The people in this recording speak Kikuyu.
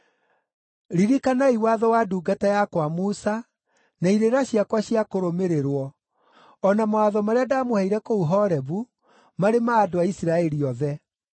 “Ririkanai watho wa ndungata yakwa Musa, na irĩra ciakwa cia kũrũmĩrĩrwo, o na mawatho marĩa ndaamũheire kũu Horebu marĩ ma andũ a Isiraeli othe.